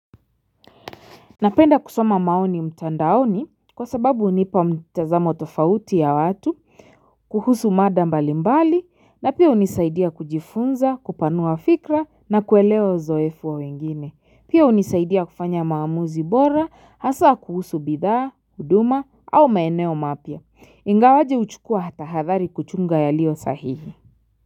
Napenda kusoma maoni mtandaoni kwa sababu unipa mtazamo tofauti ya watu, kuhusu mada mbali mbali na pia unizaidia kujifunza, kupanua fikra na kuelewa uzoefu wa wengine. Pia unizaidia kufanya maamuzi bora, hasa kuhusu bidhaa, huduma au maeneo mapya. Ingawaje uchukua hata hadhari kuchunga yalio sahihi.